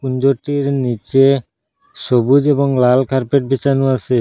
কুঞ্জটির নিচে সবুজ এবং লাল কার্পেট বিছানো আছে।